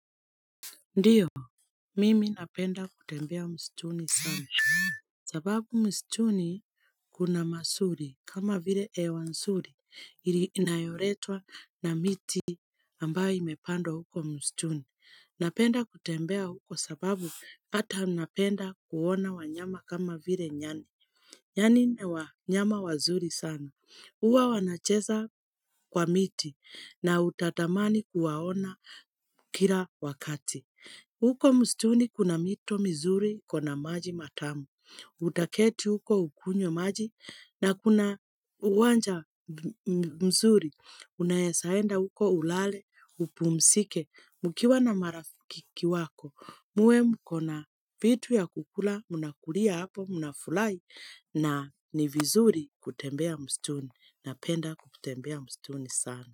Ndiyo, mimi napenda kutembea msituni sana. Sababu msituni kuna mazuri kama vile hewa nzuri, ile inayoletwa na miti ambayo imepandwa huko mstuni. Napenda kutembea huko sababu pata napenda kuona wanyama kama vile nyani. Nyani ni wanyama wazuri sana. Huwa wanacheza kwa miti na utatamani kuwaona kila wakati. Uko msituni kuna mito mizuri kuna maji matamu. Utaketi huko ukunywe maji na kuna uwanja mzuri. Unaeza enda huko ulale, upumzike, mkiwa na marafiki wako. Muwe mko na vitu ya kukula, mnakulia hapo, mnafurahi na ni vizuri kutembea msituni. Napenda kutembea msituni sana.